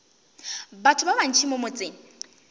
batho ba bantši mo motseng